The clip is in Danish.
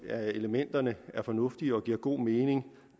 af elementerne er fornuftige og giver god mening